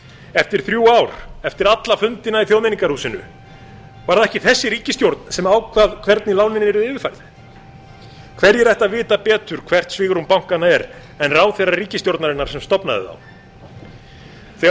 eftir þrjú ár eftir alla fundina í þjóðmenningarhúsinu var það ekki þessi ríkisstjórn sem ákvað hvernig lánin yrðu yfirfærð hverjir ættu að vita betur hvert svigrúm bankanna er en ráðherrar ríkisstjórnarinnar sem stofnaði þá þegar